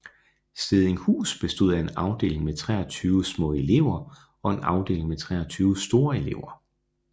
Stedinghus bestod af en afdeling med 23 små elever og en afdeling med 23 store elever